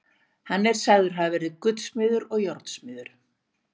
Hann er sagður hafa verið gullsmiður og járnsmiður.